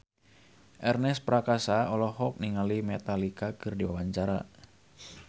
Ernest Prakasa olohok ningali Metallica keur diwawancara